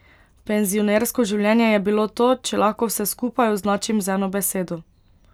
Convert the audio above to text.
Penzionersko življenje je bilo to, če lahko vse skupaj označim z eno besedo.